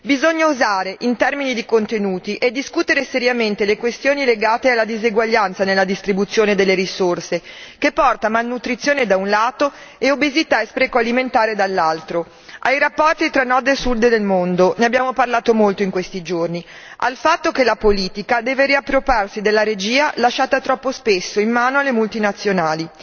Bisogna osare in termini di contenuti e discutere seriamente le questioni legate alla diseguaglianza nella distribuzione delle risorse, che porta malnutrizione da un lato e obesità e spreco alimentare dall'altro, ai rapporti tra Nord e Sul del mondo, ne abbiamo parlato molto in questi giorni, al fatto che la politica deve riappropriarsi della regia lasciata troppo spesso in mano alle multinazionali,